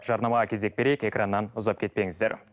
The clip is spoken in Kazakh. жарнамаға кезек берейік экраннан ұзап кетпеңіздер